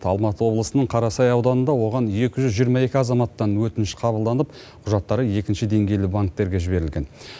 алматы облысының қарасай ауданында оған екі жүз жиырма екі азаматтан өтініш қабылданып құжаттары екінші деңгейлі банктерге жіберілген